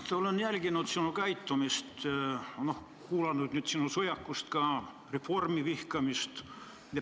Mart, olen jälginud sinu käitumist, kuulanud nüüd ka sinu sõjakust, Reformierakonna vihkamist.